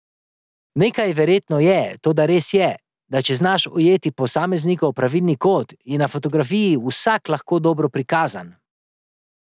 Nekaj verjetno je, toda res je, da če znaš ujeti posameznikov pravilni kot, je na fotografiji vsak lahko dobro prikazan.